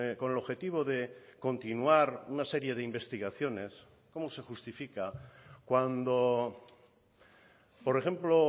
con el objetivo de continuar una serie de investigaciones cómo se justifica cuando por ejemplo